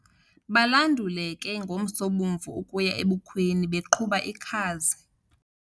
Banduluke ngomsobomvu ukuya ebukhweni beqhuba ikhazi.